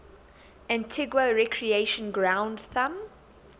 antigua recreation ground thumb